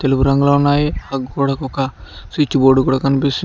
తెలుపు రంగులో ఉన్నాయి గోడకు ఒక స్విచ్ బోర్డు కూడా కనిపిస్తుంది.